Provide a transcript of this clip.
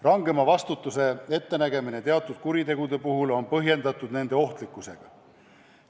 Rangema vastutuse ettenägemine teatud kuritegude puhul on põhjendatud nende ohtlikkusega.